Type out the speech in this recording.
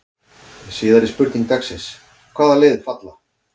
Síðari spurning dagsins: Hvaða lið falla?